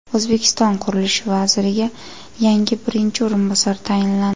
O‘zbekiston qurilish vaziriga yangi birinchi o‘rinbosar tayinlandi.